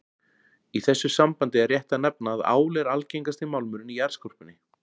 Í þessu sambandi er rétt að nefna að ál er algengasti málmurinn í jarðskorpunni.